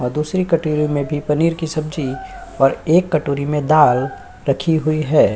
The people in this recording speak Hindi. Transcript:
और दूसरी की कटोरी में भी पनीर की सब्जी और एक कटोरी में दाल रखी हुई है।